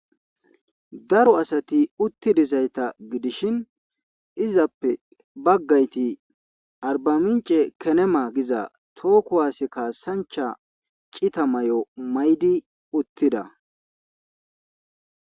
daro asati uttidizayta gidishin izappe baggayti arbamince kenema giza too kuwaase kaasancha cita may'o maydi uttida